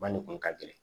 Ba nin kun ka gɛlɛn